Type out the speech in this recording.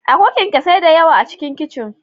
Akwai kyanksosai da yawa A cikin kicin.